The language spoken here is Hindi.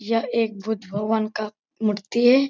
यह एक बुद्ध भगवान का मूर्ति है।